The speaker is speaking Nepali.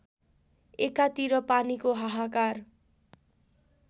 एकातिर पानीको हाहाकार